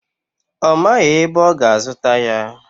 Ọ maghị ebe ọ ga-azụta ya.